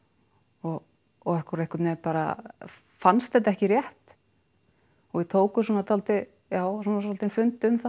og okkur og einhvern veginn bara fannst þetta ekki rétt og við tókum svona svolítið já svona svolítinn fund um það